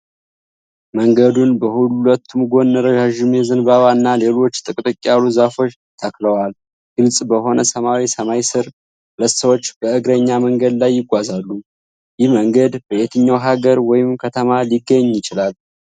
መንገዱን በሁለቱም ጎን ረዣዥም የዘንባባ እና ሌሎች ጥቅጥቅ ያሉ ዛፎች ተክለዋል። ግልጽ በሆነ ሰማያዊ ሰማይ ስር ሁለት ሰዎች በእግረኛ መንገድ ላይ ይጓዛሉ። ይህ መንገድ በየትኛው ሐገር ወይም ከተማ ሊገኝ ይችላል?